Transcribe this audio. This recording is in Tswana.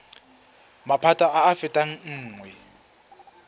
maphata a a fetang nngwe